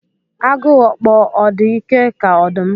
Agu okpo ọ̀ dị ike ka ọdụm?